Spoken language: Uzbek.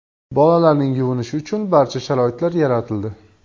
Bolalarning yuvinishi uchun barcha sharoitlar yaratildi.